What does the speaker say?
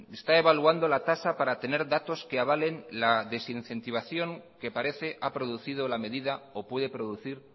está evaluando la tasa para tener datos que avalen la desincentivación que parece ha producido la medida o puede producir